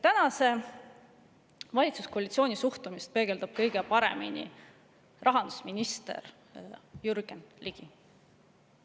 Tänase valitsuskoalitsiooni suhtumist peegeldab kõige paremini rahandusminister Jürgen Ligi.